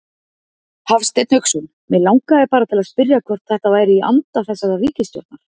Hafsteinn Hauksson: Mig langaði bara til að spyrja hvort þetta væri í anda þessarar ríkisstjórnar?